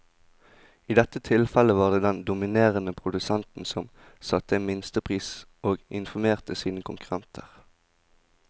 I dette tilfellet var det den dominerende produsenten som satte en minstepris og informerte sine konkurrenter.